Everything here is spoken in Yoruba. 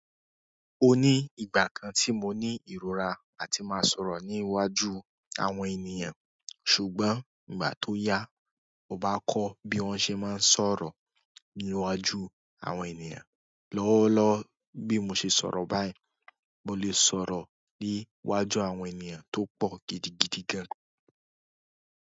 O ní ìgbà kan tí mo ní ìrora áti máa sọ̀rọ̀ ní iwájú àwọn ènìyàn, ṣùgbọ́n ìgbà tó yá, mo bá kọ́ bí wón ṣe máa ń sọ̀rọ̀ ní iwájú àwọn ènìyàn lọ́wọ́lọ́wọ́ bí mo ṣe sọ̀rọ̀ báyìí, mo lè sọ̀rọ̀ ní iwájú àwọn ènìyàn tó pọ̀ gidigidi gan.